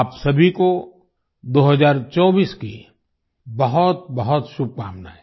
आप सभी को 2024 की बहुतबहुत शुभकामनाएं